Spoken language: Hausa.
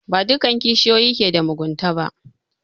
Ba duka kishiyoyi ke da mugunta ba